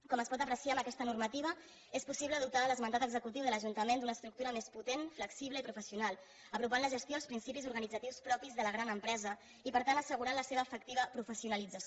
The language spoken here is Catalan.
com es pot apreciar amb aquesta normativa és possible dotar l’esmentat executiu de l’ajuntament d’una estructura més potent flexible i professional i apropar la gestió als principis organitzatius propis de la gran empresa i per tant assegurar la seva efectiva professionalització